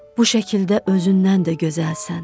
Bu şəkildə özündən də gözəlsən.